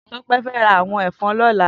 Tope fè rá àwòn èfòn lòlá